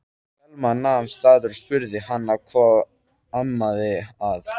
Selma nam staðar og spurði hana hvað amaði að.